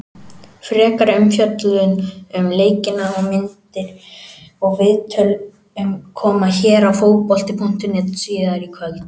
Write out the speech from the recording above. Frekari umfjöllun um leikina, myndir og viðtöl, koma hér á Fótbolta.net síðar í kvöld.